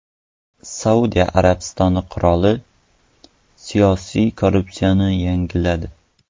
Saudiya Arabistoni qiroli siyosiy korpusni yangiladi.